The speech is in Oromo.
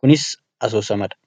kunis asoosamadha